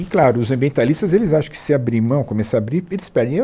E claro, os ambientalistas, eles acham que se abrir mão, começar a abrir, eles perdem eu.